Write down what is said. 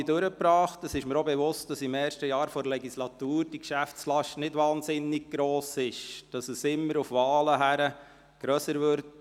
Ich bin mir auch bewusst, dass die Geschäftslast während des ersten Jahres der Legislatur nicht enorm hoch ist, aber immer grösser wird, wenn die Wahlen anstehen.